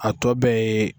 A tɔ bɛɛ ye